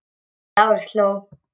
Lárus hló.